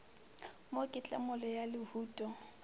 mo ke tlemollo ya lehuto